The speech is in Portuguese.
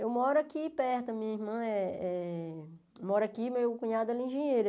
Eu moro aqui perto, minha irmã eh eh é... Eu moro aqui e meu cunhado é engenheiro.